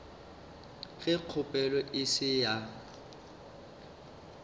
ge kgopelo e se ya